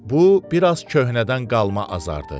Bu biraz köhnədən qalma azardır.